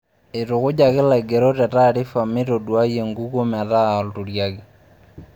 Eitukujaki laigerok te taarifa meitoduai enkukuo meeta olturiaki.